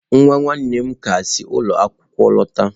Nwa nwanne m ka si ụlọ akwụkwọ lọta.